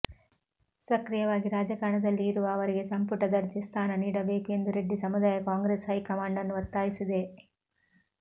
ಸಕ್ರಿಯವಾಗಿ ರಾಜಕಾರಣದಲ್ಲಿ ಇರುವ ಅವರಿಗೆ ಸಂಪುಟ ದರ್ಜೆ ಸ್ಥಾನ ನೀಡಬೇಕು ಎಂದು ರೆಡ್ಡಿ ಸಮುದಾಯ ಕಾಂಗ್ರೆಸ್ ಹೈಕಮಾಂಡನ್ನು ಒತ್ತಾಯಿಸಿದೆ